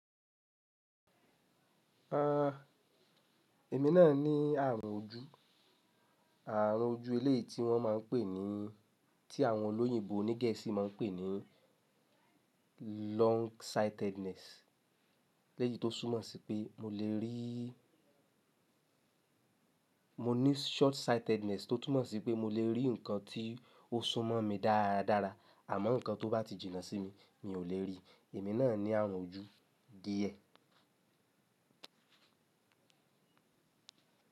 Ah, èmi náà ní àrùn ojú. Àrùn ojú ilé tí wọ́n má a ń pè ní tí àwọn olóyìnbo onígẹ̀ẹ́sì máa ń pè ní longsightedness. Eleyii tó súnmọ́ sí pé mo lè rí, mo ní shortsightedness tó túmọ̀ sí pé mo lè rí ǹkan tí ó súnmọ́ mi dáradára àmọ́ ǹkan tó bá ti jìnnà sí mi. Mi ò lè rí. Èmi náà ní àrùn ojú díẹ̀.